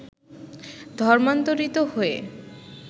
ধর্মান্তরীত হয়ে